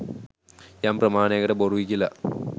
යම් ප්‍රමාණයකට බොරුයි කියල